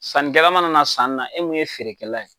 Sanikɛla mana na sani la, e min ye feerekɛla ye